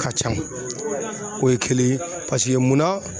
Ka ca o ye kelen ye paseke munna.